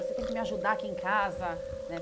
Você tem que me ajudar aqui em casa, né?